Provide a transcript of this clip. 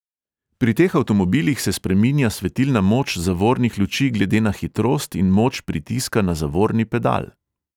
Pri teh avtomobilih se spreminja svetilna moč zavornih luči glede na hitrost in moč pritiska na zavorni pedal.